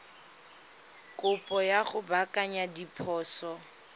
kopo ya go baakanya diphoso